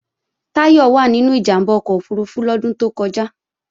Táyọ̀ wà nínú ìjàmbá ọkọ̀ òfurufú lọ́dún tó kọjá